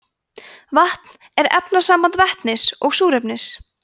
vatn er efnasamband vetnis og súrefnis